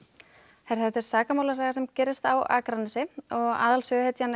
þetta er sakamálasaga sem gerist á Akranesi og aðalsöguhetjan er